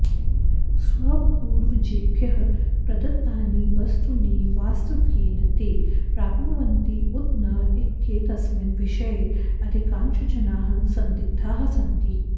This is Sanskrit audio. स्वपूर्वजेभ्यः प्रदत्तानि वस्तूनि वास्तव्येन ते प्राप्नुवन्ति उत न इत्येतस्मिन् विषये अधिकांशजनाः सन्दिग्धाः सन्ति